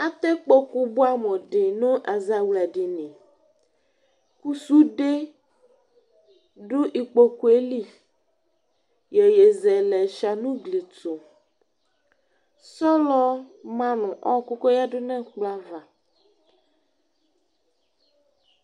Atɛ kpoku buɛ amu di nɛfɛ nu ɛzawldini ku sude du ikpoku yɛ li yeyezɛlɛ shua nu ugli tu sɔlɔ ma du ɔku koyadu nɛkplɔ ava